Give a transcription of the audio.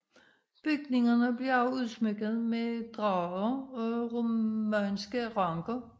Bygningerne blev også udsmykket med drager og romanske ranker